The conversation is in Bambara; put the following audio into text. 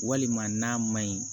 Walima n'a ma ɲi